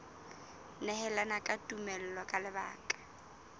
nehelana ka tumello ka lebaka